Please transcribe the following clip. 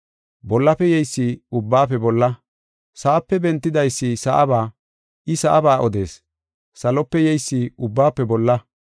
Bollafe yeysi ubbaafe bolla. Sa7ape bentidaysi sa7aba. I sa7aba odees. Salope yeysi ubbaafe bolla.